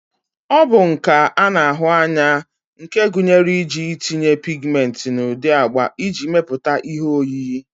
ọ bụ nka a na-ahụ anya nke gụnyere iji itinye pigmenti n'ụdị agba iji mepụta ihe oyiyi